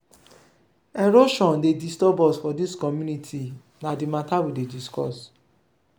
erosion dey disturb us for dis community na di mata we dey discuss.